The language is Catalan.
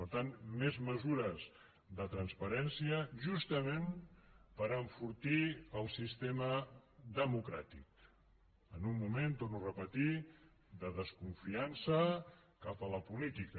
per tant més mesures de transparència justament per enfortir el sistema democràtic en un moment ho torno a repetir de desconfiança cap a la política